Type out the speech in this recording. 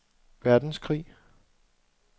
verdenskrig